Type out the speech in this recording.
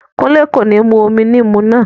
Kúnlé kò ní mú omi níìmù náà